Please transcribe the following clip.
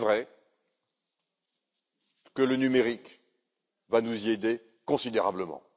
PME. Il est vrai que le numérique va nous aider considérablement.